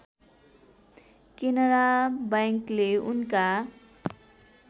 केनरा बैंकले उनका